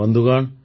ବନ୍ଧୁଗଣ